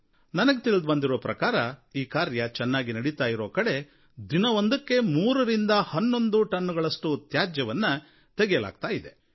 ನನಗೆ ತಿಳಿದುಬಂದಿರೋ ಪ್ರಕಾರ ಈ ಕಾರ್ಯ ಚೆನ್ನಾಗಿ ನಡಿತಾ ಇರೋ ಕಡೆ ದಿನವೊಂದಕ್ಕೆ ಮೂರರಿಂದ ಹನ್ನೊಂದು ಟನ್ನುಗಳಷ್ಟು ತ್ಯಾಜ್ಯವನ್ನು ತೆಗೆಯಲಾಗುತ್ತಿದೆ